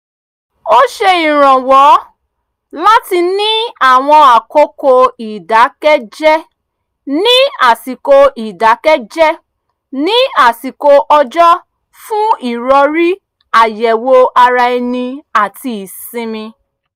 ó ṣe ìrànwọ́ láti ní àwọn àkókò ìdákẹ́jẹ́ ní àsikò ìdákẹ́jẹ́ ní àsikò ọjọ́ fún ìròrí àyẹ̀wò ara ẹni àti ìsinmi